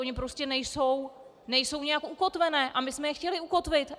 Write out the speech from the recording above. Ony prostě nejsou nijak ukotvené a my jsme je chtěli ukotvit.